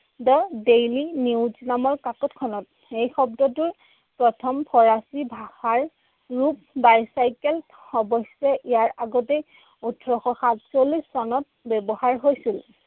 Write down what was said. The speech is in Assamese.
দ্য দেইলি নিউজ নামৰ কাকতখনত। সেই শব্দটো প্ৰথম ফৰাচী ভাষাৰ ৰূপ। bicycle অৱশ্যে ইয়াৰ আগতেই ওঠৰশ সাতচল্লিশ চনত ব্যৱহাৰ হৈছিল।